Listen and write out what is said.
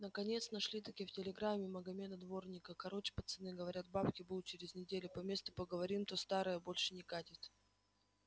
наконец нашел-таки в телеграме магомеда-дворника короч пацаны говорят бабки будут через неделю по месту поговорим то старое больше не катит